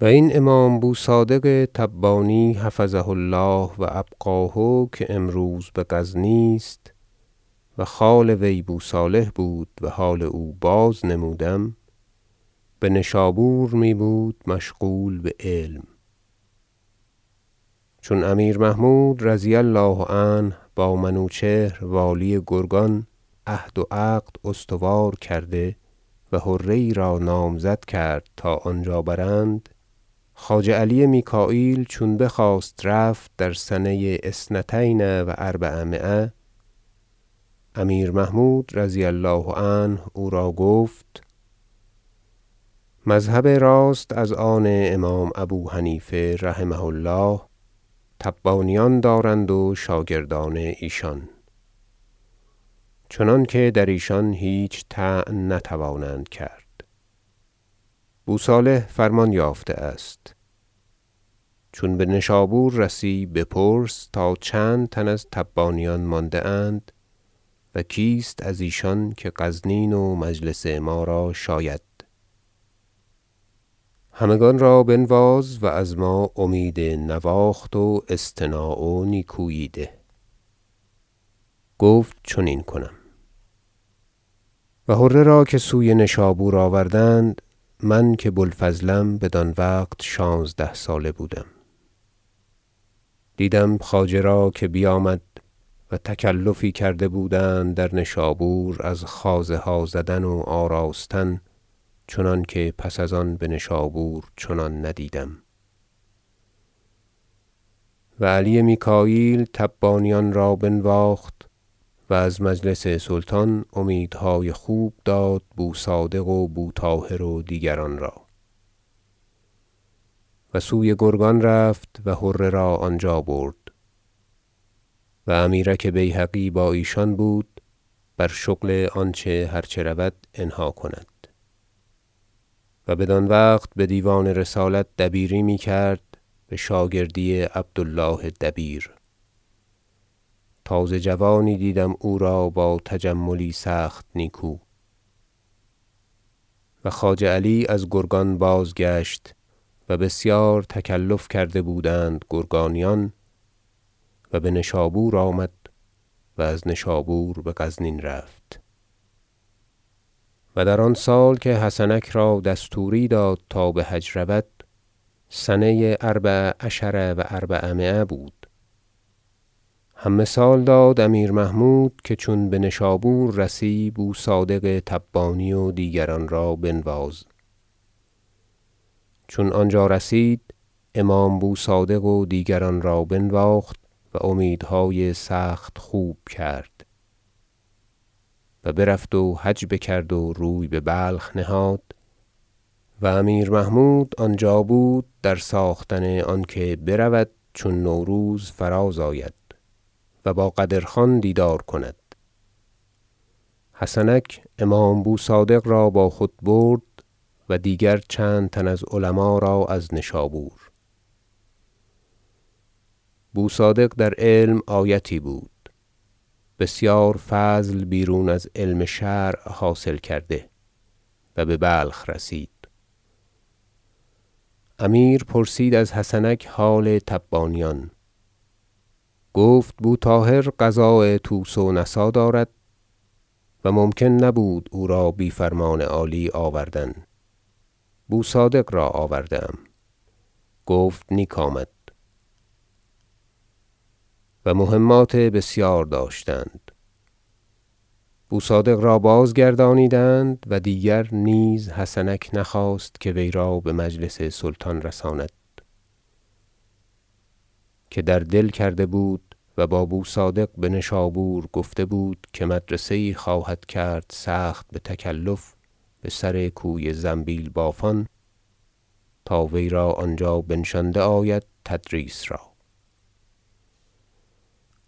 و این امام بو صادق تبانی حفظه الله و ابقاه که امروز به غزنی است- و خال وی بو صالح بود و حال او بازنمودم- به نشابور می بود مشغول به علم چون امیر محمود رضی الله عنه با منوچهر والی گرگان عهد و عقد استوار کرده و حره یی را نامزد کرد تا آنجا برند خواجه علی میکاییل چون بخواست رفت در سنه اثنتین و اربعمایه امیر محمود رضی الله عنه او را گفت مذهب راست از آن امام ابو حنیفه رحمه الله تبانیان دارند و شاگردان ایشان چنانکه در ایشان هیچ طعن نتوانند کرد بو صالح فرمان یافته است چون به نشابور رسی بپرس تا چند تن از تبانیان مانده اند و کیست از ایشان که غزنین و مجلس ما را شاید همگان را بنواز و از ما امید نواخت و اصطناع و نیکویی ده گفت چنین کنم و حره را که سوی نشابور آوردند من که بو الفضلم بدان وقت شانزده ساله بودم دیدم خواجه را که بیامد و تکلفی کرده بودند در نشابور از خوازه ها زدن و آراستن چنانکه پس از آن بهنشابور چنان ندیدم و علی میکاییل تبانیان را بنواخت و از مجلس سلطان امیدهای خوب داد بو صادق و بو طاهر و دیگران را و سوی گرگان رفت و حره را آنجا برد و امیرک بیهقی با ایشان بود بر شغل آنچه هرچه رود انها کند- و بدان وقت بدیوان رسالت دبیری می کرد به شاگردی عبد الله دبیر- تازه جوانی دیدم او را با تجملی سخت نیکو و خواجه علی از گرگان بازگشت و بسیار تکلف کرده بودند گرگانیان و به نشابور آمد و از نشابور به غزنین رفت و در آن سال که حسنک را دستوری داد تا به حج برود- سنه اربع عشر و اربعمایه بود- هم مثال داد امیر محمود که چون به نشابور رسی بو صادق تبانی و دیگران را بنواز چون آنجا رسید امام بو صادق و دیگران را بنواخت و امیدهای سخت خوب کرد و برفت و حج بکرد و روی به بلخ نهاد و امیر محمود آنجا بود در ساختن آنکه برود چون نوروز فراز آید و با قدر خان دیدار کند حسنک امام بو صادق را با خود برد و دیگر چند تن از علما را از نشابور بو صادق در علم آیتی بود بسیار فضل بیرون از علم شرع حاصل کرده و به بلخ رسید امیر پرسید از حسنک حال تبانیان گفت بو طاهر قضاء طوس و نسا دارد و ممکن نبود او را بی فرمان عالی آوردن بو صادق را آورده ام گفت نیک آمد و مهمات بسیار داشتند بو صادق را باز گردانیدند و دیگر نیز حسنک نخواست که وی را به مجلس سلطان رساند که در دل کرده بود و با بو صادق به نشابور گفته بود که مدرسه یی خواهد کرد سخت به تکلف بسر کوی زنبیل بافان تا وی را آنجا بنشانده آید تدریس را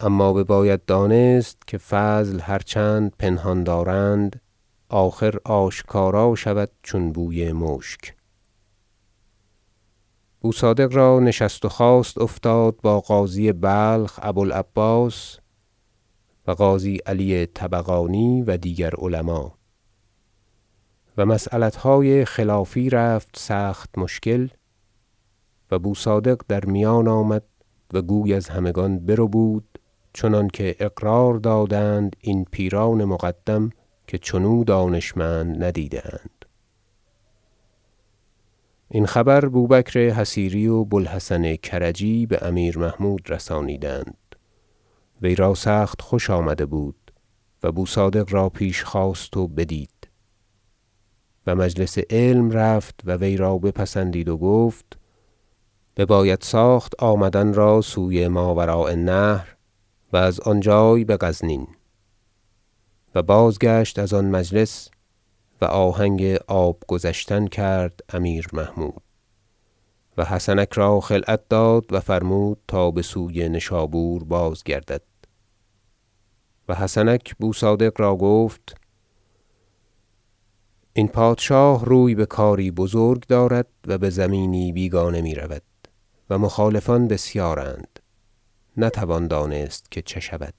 اما بباید دانست که فضل هرچند پنهان دارند آخر آشکارا شود چون بوی مشک بو صادق را نشست و خاست افتاد با قاضی بلخ ابو العباس و قاضی علی طبقاتی و دیگر علما و مسیلتهای خلافی رفت سخت مشکل و بو صادق در میان آمد و گوی از همگان بربود چنانکه اقرار دادند این پیران مقدم که چنو دانشمند ندیده اند این خبر بوبکر حصیری و بو الحسن کرجی به امیر محمود رسانیدند وی را سخت خوش آمده بود و بو صادق را پیش خواست و بدید و مجلس علم رفت و وی را بپسندید و گفت بباید ساخت آمدن را سوی ماوراء النهر و از آن جای به غزنین و بازگشت از آن مجلس و آهنگ آب گذشتن کرد امیر محمود و حسنک را خلعت داد و فرمود تا بسوی نشابور بازگردد و حسنک بو صادق را گفت این پادشاه روی به کاری بزرگ دارد و به زمینی بیگانه می رود و مخالفان بسیارند نتوان دانست که چه شود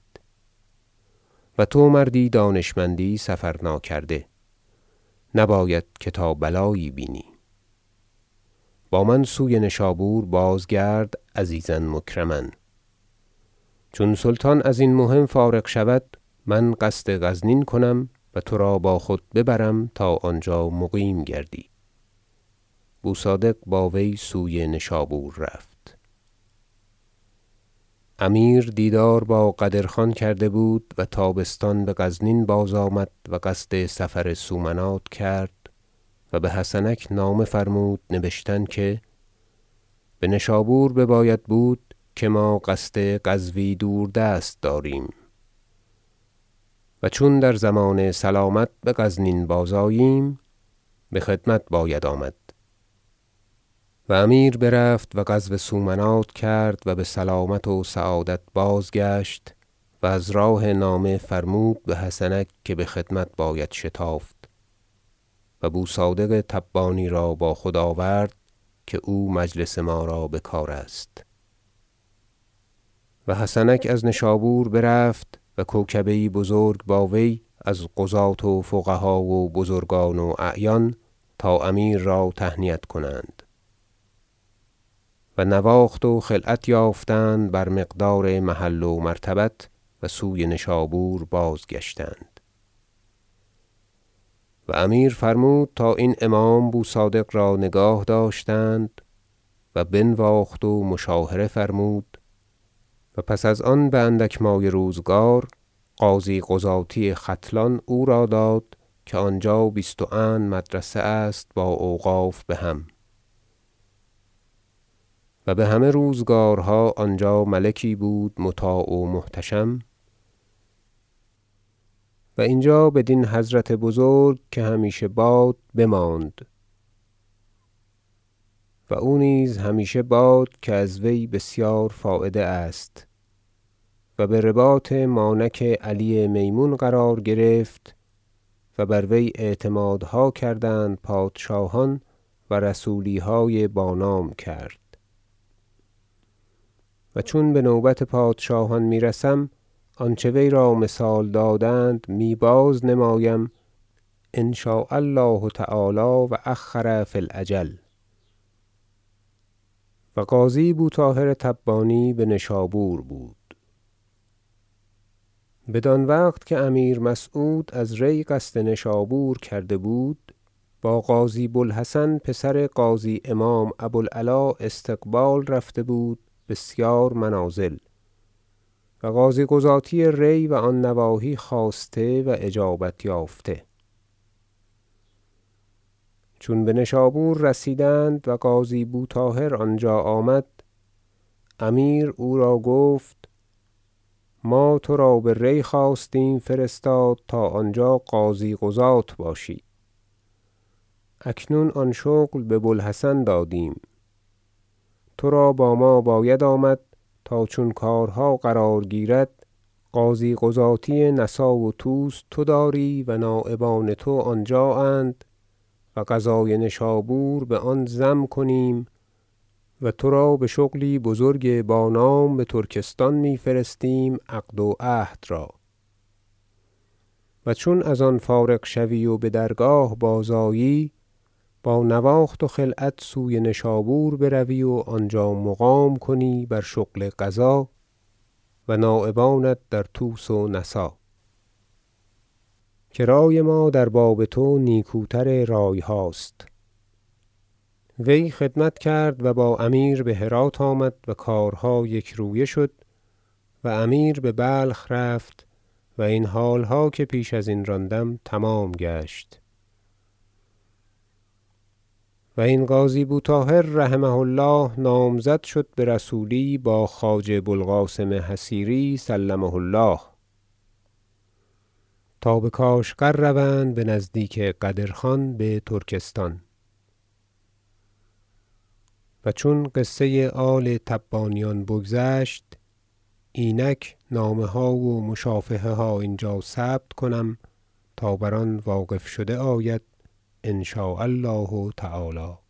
و تو مردی دانشمندی سفر ناکرده نباید که تا بلایی بینی با من سوی نشابور بازگرد عزیزا مکرما چون سلطان ازین مهم فارغ شود من قصد غزنین کنم و ترا با خود ببرم تا آنجا مقیم گردی بو صادق با وی بسوی نشابور رفت امیر دیدار با قدر خان کرده بود و تابستان به غزنین بازآمد و قصد سفر سومنات کرد و به حسنک نامه فرمود نبشتن که به نشابور بباید بود که ما قصد غزوی دور دست داریم و چون در ضمان سلامت به غزنین بازآییم به خدمت باید آمد و امیر برفت و غزو سومنات کرد و به سلامت و سعادت بازگشت و از راه نامه فرمود به حسنک که به خدمت باید شتافت و بو صادق تبانی را با خود آورد که او مجلس ما را به کار است و حسنک از نشابور برفت و کوکبه یی بزرگ با وی از قضاة و فقها و بزرگان و اعیان تا امیر را تهنیت کنند و نواخت و خلعت یافتند بر مقدار محل و مرتبت و سوی نشابور بازگشتند و امیر فرمود تا این امام بو صادق را نگاه داشتند و بنواخت و مشاهره فرمود و پس از ان به اندک مایه روزگار قاضی قضاتی ختلان او را داد که آنجا بیست و اند مدرسه است با اوقاف بهم و به همه روزگارها آنجا ملکی بود مطاع و محتشم و اینجا بدین حضرت بزرگ که همیشه باد بماند و او نیز همیشه باد که از وی بسیار فایده است و برباط مانک علی میمون قرار گرفت و بر وی اعتمادها کردند پادشاهان و رسولیهای بانام کرد و چون بنوبت پادشاهان می رسم آنچه وی را مثال دادند می بازنمایم ان شاء الله تعالی و اخر فی الاجل و قاضی بو طاهر تبانی به نشابور بود بدان وقت که امیر مسعود از ری قصد نشابور کرده بود با قاضی بو الحسن پسر قاضی امام ابو العلا استقبال رفته بود بسیار منازل و قاضی قضاتی ری و آن نواحی خواسته و اجابت یافته چون به نشابور رسیدند و قاضی بو طاهر آنجا آمد امیر او را گفت ما ترا به ری خواستیم فرستاد تا آنجا قاضی- قضات باشی اکنون آن شغل به بوالحسن دادیم ترا با ما باید آمد تا چون کارها قرار گیرد قاضی قضاتی نسا و طوس تو داری و نایبان تو آنجااند و قضای نشابور بآن ضم کنیم و ترا به شغلی بزرگ با نام به ترکستان می فرستیم عقد و عهد را و چون از آن فارغ شوی و به درگاه بازآیی با نواخت و خلعت سوی نشابور بروی و آنجا مقام کنی بر شغل قضا و نایبانت در طوس و نسا که رأی ما در باب تو نیکوتر رأی هاست وی خدمت کرد و با امیر به هرات آمد و کارها یک رویه شد و امیر به بلخ رفت و این حالها که پیش ازین راندم تمام گشت و این قاضی بو طاهر رحمه الله نامزد شد به رسولی با خواجه بو القاسم حصیری سلمه الله تا به کاشغر روند به نزدیک قدر خان به ترکستان و چون قصه آل تبانیان بگذشت اینک نامه ها و مشافهه ها اینجا ثبت کنم تا بر آن واقف شده آید ان شاء الله تعالی